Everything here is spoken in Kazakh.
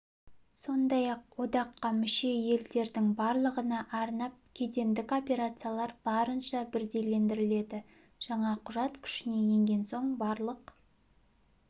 сондай-ақ одаққа мүше елдердің барлығына арнап кедендік операциялар барынша бірдейлендіріледі жаңа құжат күшіне енген соң барлық